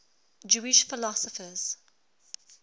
jewish philosophers